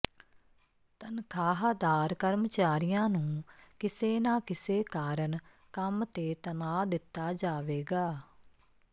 ਤਨਖਾਹਦਾਰ ਕਰਮਚਾਰੀਆਂ ਨੂੰ ਕਿਸੇ ਨਾ ਕਿਸੇ ਕਾਰਨ ਕੰਮ ਤੇ ਤਣਾਅ ਦਿੱਤਾ ਜਾਵੇਗਾ